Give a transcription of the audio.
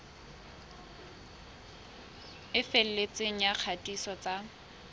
e felletseng ya kgatiso tsa